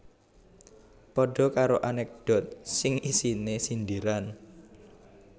Padha karo anekdot sing isine sindiran